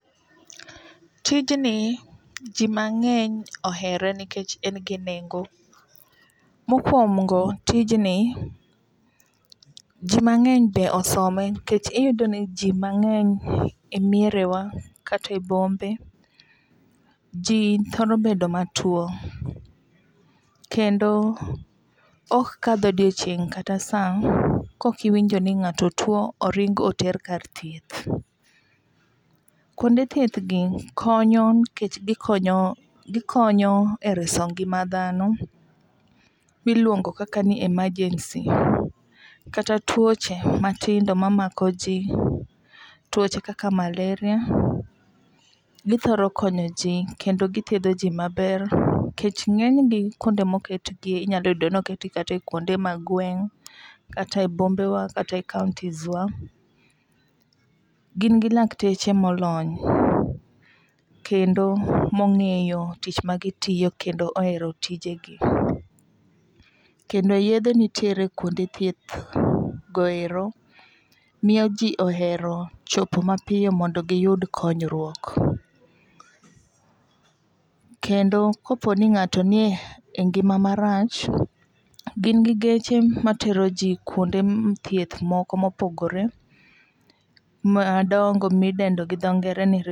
Tijni ji mang'eny ohere nikech en gi nengo. Mokwongo tijni ji mang'eny be osome. Nikech iyudo ni ji mang'eny e miere wa kata e bombe ji thoro bedo matuo kendo ok kadh odiochieng' kata sa kok iwinjo ni ng'ato tuo oring' oter kar thieth. Kuonde thieth gi konyo nikech gikonyo e reso ngima dhano miluongo kaka ni emergency kata tuoche matindo mamako ji. Tuoche kaka malaria, githoro konyo ji kendo githiedho ji maber. Nikech ng'eny ji kuonde moket gie inyayudo ni oket gi kata e kuonde mag gweng' kata e bombe wa kata e kauntis wa. Gin gi lakteche molony. Kendo mong'eyo tich ma gitiyo kendo ohero tije gi. Kendo yedhe nitiere kuonde thieth go ero miyo ji ohero chopo mapiyo mondo giyud konyruok. Kendo kopo ni ng'ato ni e ngima marach gin gi geche matero ji kuonde thieth moko mopogore madongo midendo gi dho ngere.